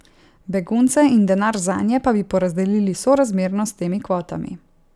Begunce in denar zanje pa bi porazdelili sorazmerno s temi kvotami.